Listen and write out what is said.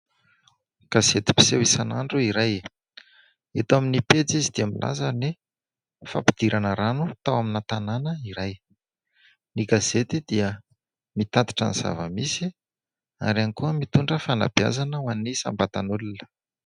Gazety mpiseho isan'andro iray. Eto amin'ny pejy izy dia milaza ny fampidirana rano tao amin'ny tanàna iray. Ny gazety dia mitatitra ny zava-misy ary ihany koa mitondra fanabeazana ho an'ny isam-batan'olona.